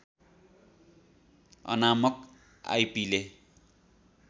अनामक आइपीले